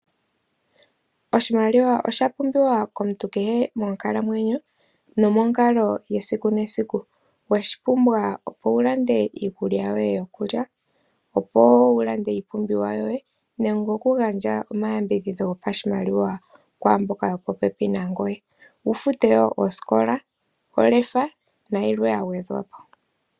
Oshimaliwa osha pumbiwa komuntu kehe monkalamwenyo, nomonkalo yesiku nesiku. Oweshi pumbwa opo wulande iikulya yoye yokulya, iipumbiwa yoye, nenge okugandja omayambidhidho gopashimaliwa kwaamboka yopopepi nangoye, wufute wo osikola, olefa, nayilwe yagwedhwapo.